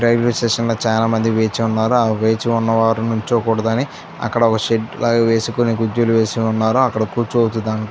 railway station లో చాలామంది వేచి ఉన్నారు ఆ వేచి ఉన్న వారు నించకూడదని అక్కడ ఒక షెడ్ లాంటిది వేసుకొని కుర్చీలో ఉన్నారు అక్కడ కూర్చోవచ్చు ద --